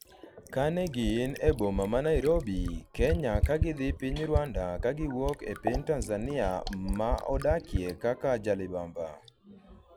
kane gin e boma ma Nairobi ,Kenya ka gidhi piny Rwanda kagiwuok e piny Tanzania ma odakie kaka jalibamba